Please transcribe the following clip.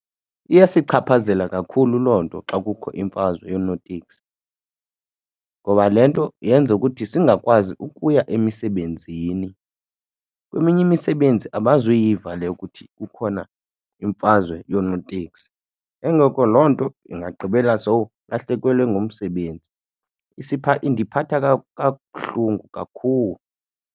Iyasichaphazela kakhulu loo nto xa kukho imfazwe yonootekisi ngoba le nto yenza ukuthi singakwazi ukuya emisebenzini. Kweminye imisebenzi abazuyiva le yokuthi kukhona imfazwe yonootekisi. Ke ngoku loo nto ingagqibela sowulahlekelwe ngumsebenzi. Indiphatha kabuhlungu kakhulu.